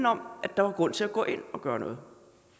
om at der var grund til at gå ind og gøre noget